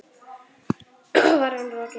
Svo var hún rokin.